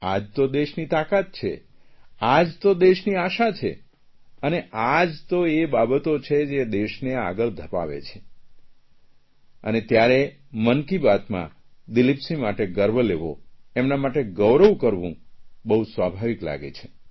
આ જ તો દેશની તાકાત છે આ જ તો દેશની આશા છે અને આ જ તો એ બાબતો છે જે દેશને આગળ ધપાવે છે અને ત્યારે મન કી બાતમાં દિલીપસિંહ માટે ગર્વ લેવો એમના માટે ગૌરવ કરવું બહુ સ્વાભાવિક લાગે છે